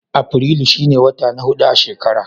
Afirilu shi ne wata na hudu a shekara.